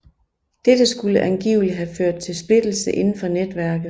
Dette skulle angiveligt have ført til splittelse indenfor netværket